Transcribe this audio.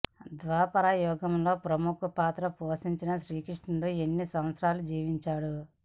ద్వాపర యుగంలో ప్రముఖ పాత్ర పోషించిన శ్రీకృష్ణుడు ఎన్ని సంవత్సరాలు జీవించాడు